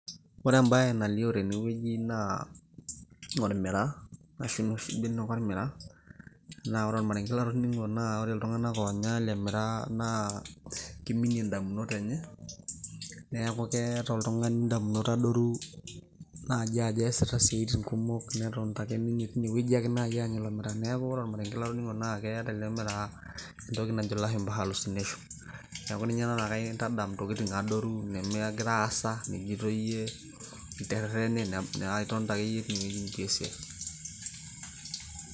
ore ebae nalioo tene naa olmiraa, naa ore ormarenke latoning'o naa ore iltunganak oonya ele miraa naa kiminie idamunot enye, neeku keeta oltungani idamunot adoru, naajo ajo eesita isiatin kumok. netonita ake ninye teine anya ilo miraa. neeku ore olmarenke latning'o naa keeta ele miraa entoki najo ilashumpa hallucination .neeku ninye ena nikintadamau intokiti adoru. nitonita ake yie teine wueji.